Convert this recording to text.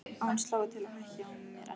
Að hún slái til og hækki á mér ennið.